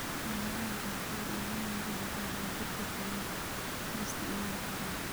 Xaaladaha qaarkood, daawooyinka difaaca jirka ayaa la isticmaali karaa.